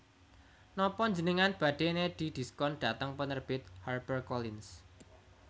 Nopo njenengan badhe nedhi diskon dhateng penerbit Harper Collins